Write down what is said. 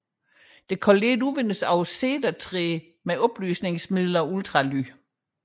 Det kan let udvindes af cedertræ med opløsningsmiddel og ultralyd